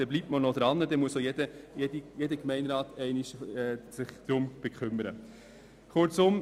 Somit bleibt man dran, sodass sich jeder Gemeinderat einmal darum kümmern muss.